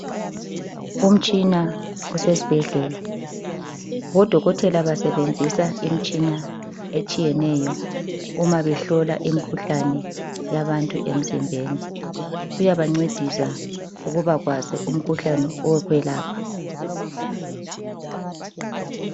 Umtshina osesibhedlela, odokotela basebenzisa imitshina etshiyeneyo uma behlola imikhuhlane yabantu emzimbeni. Kuyabancedisa ukuba kwazi umkhuhlane wokwelapha.